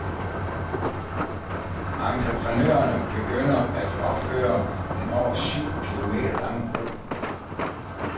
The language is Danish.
Entreprenørerne begynder at opføre den over syv kilometer lange bro.